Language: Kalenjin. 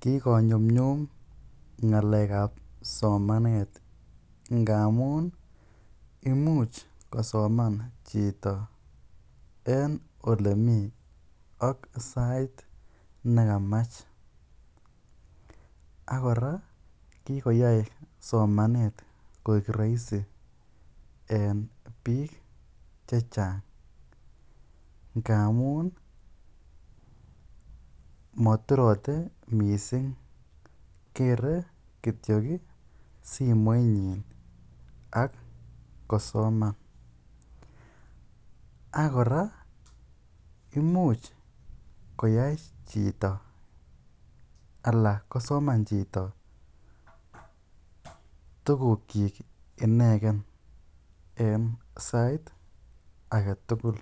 Kikonyumnyum ngalekab somanet ngamun imuch kosoman chito en olemii ak sait nekamach ak kora kikoyai somanet koik roisi en biik chechang ngamun moturote misig kere kitiok simoinyin ak kosoman ak kora imuch koyoe chito alaa kosoman chito tukukyik ineken en sait aketukul